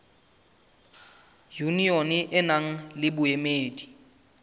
yunione e nang le boemedi